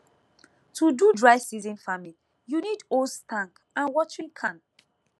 to do dry season farming you need hose tank and watering can